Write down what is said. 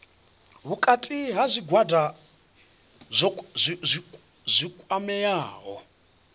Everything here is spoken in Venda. vhukati ha zwigwada zwi kwameaho